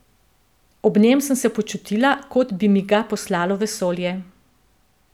Ob njem sem se počutila, kot bi mi ga poslalo vesolje.